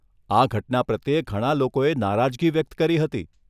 આ ઘટના પ્રત્યે ઘણા લોકોએ નારાજગી વ્યક્ત કરી હતી.